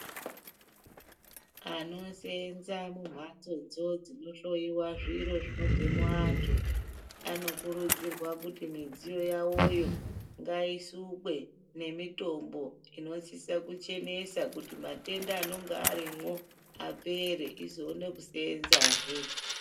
Anoseenze mumhatsodzo idzodzo dzinohloyiwa zviro zvinobve muantu anokurudzirwa kuti midziyo yawoyo ngaisukwe nemitombo inosise kuchenesa kuti matenda anonga arimwo apere tizoona kuseenzesa zve.